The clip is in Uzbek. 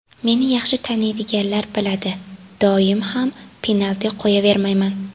Meni yaxshi taniydiganlar biladi, doim ham penalti qo‘yavermayman.